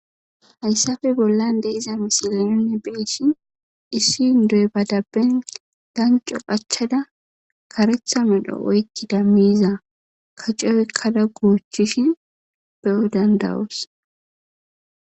hayssafe bollan de iza misilenonne beeshin issindoy badabben danco phachchada karetha medho oykkida miiza kacey oykkada goochishin be7o dandawus